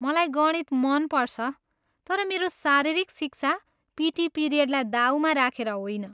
मलाई गणित मन पर्छ तर मेरो शारीरिक शिक्षा, पिटी पिरियडलाई दाउमा राखेर होइन।